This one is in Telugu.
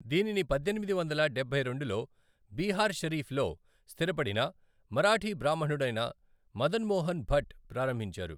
దీనిని పద్దెనిమిది వందల డబ్బై రెండులో బీహార్ షరీఫ్లో స్థిరపడిన మరాఠీ బ్రాహ్మణుడైన మదన్ మోహన్ భట్ ప్రారంభించారు.